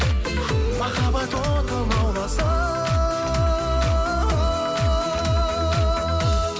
махаббат оты лауласын